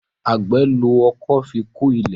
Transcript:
Àgbè ló ọkọ́ fí kò ilé.